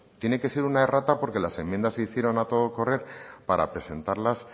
tiene que ser una errata porque las enmienda se hicieron a todo correr para presentarlas